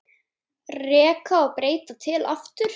Reka og breyta til aftur?